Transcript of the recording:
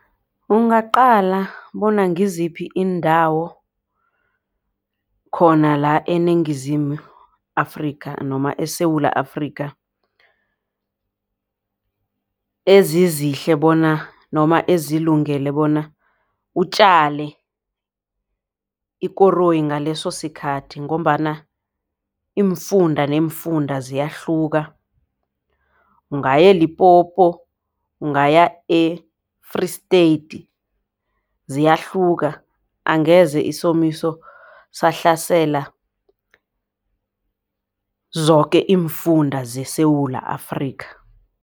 Ungaqala bona ngiziphi iindawo khona la eniNgizimu Afrika noma eSewula Afrika ezizihle bona noma ezilungele bona utjale ikoroyi ngaleso sikhathi. Ngombana iimfunda neemfunda ziyahluka. Ungaya e-Limpopo, ungaya e-Free State ziyahluka. Angeze isomiso sahlasela zoke iimfunda zeSewula Afrika.